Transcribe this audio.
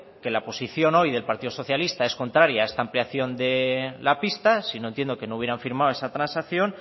que la posición hoy del partido socialista es contraria a esta ampliación de la pista sino entiendo que no hubiera firmado esa transacción